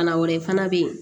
Bana wɛrɛ fana bɛ yen